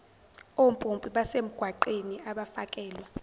ompompi basemgwaqeni abafakelwa